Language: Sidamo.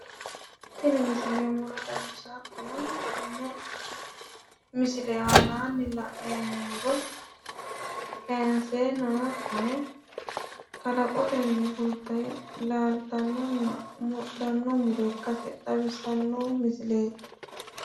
Tini misile muro xawissawo hattono tenne misile aanaanni la'neemmo muro kayiinseenna hattono kalaqotenni fulte laaltannonna mudhanno muro ikkase xawissanno misileeti.